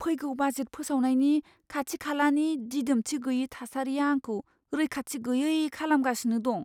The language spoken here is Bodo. फैगौ बाजेट फोसावनायनि खाथि खालानि दिदोमथि गैयै थासारिआ आंखौ रैखाथि गैयै खालामगासिनो दं।